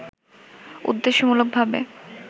উদ্দেশ্যমূলক ভাবে